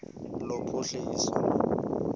lophuhliso